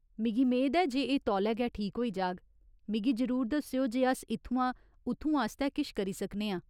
मिगी मेद ऐ जे एह् तौले गै ठीक होई जाग, मिगी जरूर दस्सेओ जे अस इत्थुआं उत्थूं आस्तै किश करी सकने आं।